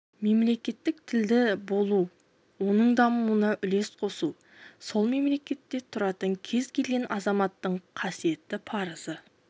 мемлекеттік тілді болу оның дамуына үлес қосу сол мемлекетте тұратын кез келген азаматтың қасиетті парызы